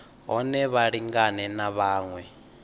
hone vha lingane na vhaṅwe